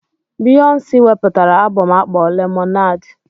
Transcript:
Biyonsi wepụtara abom akpọrọ 'Lemonade'.